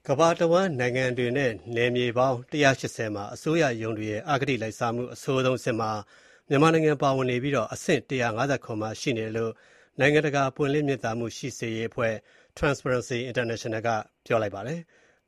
ကမ္ဘာတဝန်း နိုင်ငံတွေနဲ့ ပိုင်နက်တွေ စုစုပေါင်း ၁၈၀ မှာ အစိုးရရုံးတွေရဲ့ အဂတိလိုက်စားမှု အဆိုးဆုံးအဆင့်မှာ မြန်မာနိုင်ငံပါဝင်နေပြီး အဆင့် ၁၅၇ မှာ ရှိနေတယ်လို့ နိုင်ငံတကာ ပွင့်လင်းမြင်သာမှုရှိစေရေးအဖွဲ့ Transparency International ကပြောကြားလိုက်ပါတယ်။